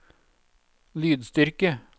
lydstyrke